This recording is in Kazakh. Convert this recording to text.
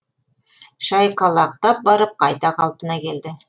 шайқалақтап барып қайта қалпына келді